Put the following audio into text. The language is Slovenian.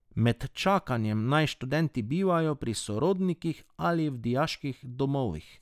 Med čakanjem naj študenti bivajo pri sorodnikih ali v dijaških domovih.